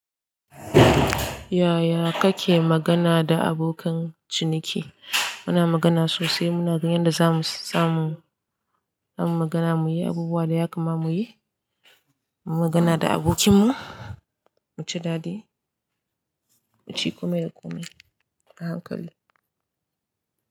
Yaya kake magana da abokan ciniki? Muna magana sosai. Muna ganin yadda zamu samu, zamu magana muyi abubuwa da yakama muyi. Mu magana da abokinmu, muci dadi, muci komai da komai a hankali.